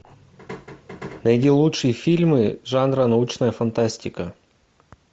найди лучшие фильмы жанра научная фантастика